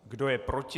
Kdo je proti?